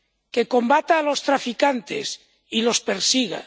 que combata a los traficantes y los persiga